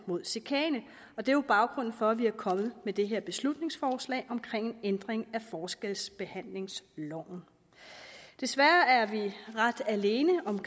mod chikane og det er jo baggrunden for at vi er kommet med det her beslutningsforslag om en ændring af forskelsbehandlingsloven desværre er vi ret alene om